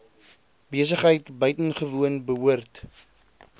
besigheid buitengewoon behoort